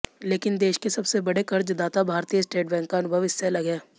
लेकिन देश के सबसे बड़े कर्जदाता भारतीय स्टेट बैंक का अनुभव इससे अलग है